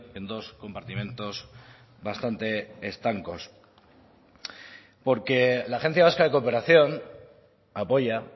en dos compartimentos bastante estancos porque la agencia vasca de cooperación apoya